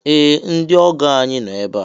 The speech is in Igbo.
Ee! Ndị ọgọ ànyị no ebe a.